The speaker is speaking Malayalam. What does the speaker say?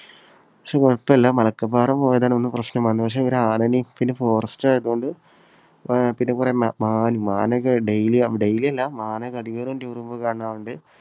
പക്ഷേ കുഴപ്പല്ല. മലക്കപ്പാറ പോയതാണ് ഒന്ന് പ്രശ്നം വന്നത്. പക്ഷേ ഒരു ആനയെയും പിന്നെ forest ആയതുകൊണ്ട് ആഹ് പിന്നെ കുറേ മാൻ, മാനൊക്കെ daily, daily അല്ല, മാനൊക്കെ അടിവാരം tour പോകുമ്പോൾ കാണാറുണ്ട്.